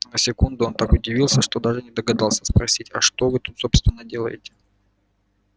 на секунду он так удивился что даже не догадался спросить а что вы тут собственно делаете